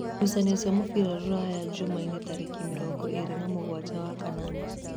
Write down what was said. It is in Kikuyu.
Ngucanio cia mũbira Rūraya Jumaine tarĩki mĩrongo ĩrĩ na mũgwanja wa-kanana.